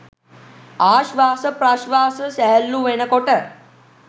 ආශ්වාස ප්‍රශ්වාස සැහැල්ලු වෙන කොට